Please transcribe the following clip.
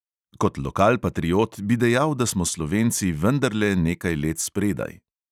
Kot lokalpatriot bi dejal, da smo slovenci vendarle nekaj let spredaj.